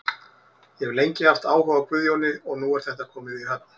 Ég hef lengi haft áhuga á Guðjóni og nú er þetta komið í höfn.